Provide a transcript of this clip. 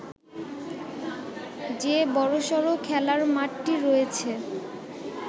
যে বড়সড় খেলার মাঠটি রয়েছে